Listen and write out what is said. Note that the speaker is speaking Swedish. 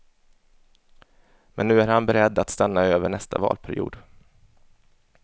Men nu är han beredd att stanna över nästa valperiod.